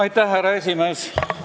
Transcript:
Austatud härra esimees!